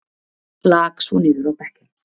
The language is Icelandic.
Lak svo niður á bekkinn.